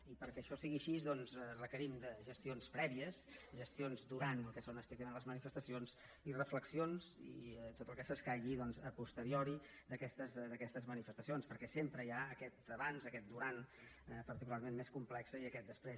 i perquè això sigui així doncs requerim de gestions prèvies gestions durant el que són estrictament les manifestacions i reflexions i tot el que s’escaigui doncs a posteriori d’aquestes manifestacions perquè sempre hi ha aquest abans aquest durant particularment més complex i aquest després